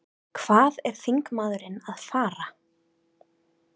Hvað er þingmaðurinn að fara?